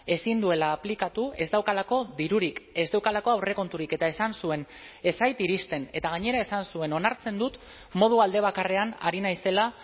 ezin duela aplikatu ez daukalako dirurik ez daukalako aurrekonturik eta esan zuen ez zait iristen eta gainera esan zuen onartzen dut modu alde bakarrean ari naizela